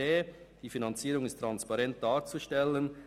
«Die Finanzierung ist transparent darzustellen»: